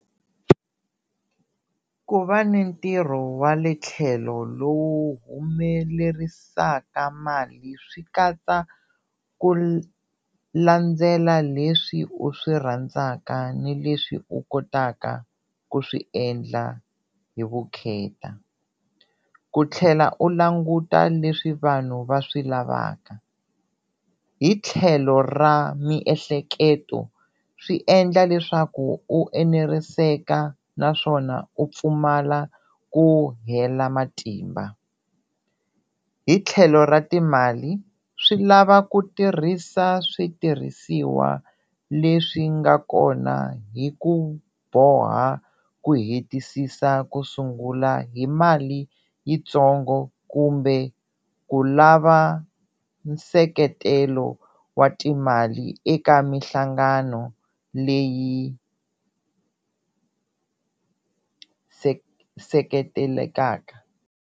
Ku va ni ntirho wa le tlhelo lowu humelerisaka mali swi katsa ku landzela leswi u swi rhandzaka ni leswi u kotaka ku swi endla hi vukheta, ku tlhela u languta leswi vanhu va swi lavaka hi tlhelo ra miehleketo swi endla leswaku u eneriseka naswona u pfumala ku hela matimba. Hi tlhelo ra timali swi lava ku tirhisa switirhisiwa leswi nga kona hi ku boha ku hetisisa ku sungula hi mali yitsongo kumbe ku lava nseketelo wa timali eka mihlangano leyi seketelelaka.